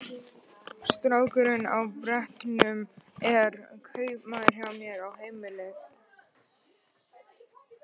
Strákurinn á brettunum er kaupamaður hjá mér, á heimleið.